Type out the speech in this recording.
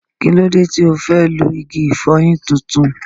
Kí ló dé tí ò fẹ́ lo igi ìfọyín tuntun?